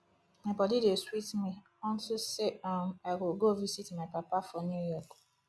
my body dey sweet me unto say um i go go visit my papa for new york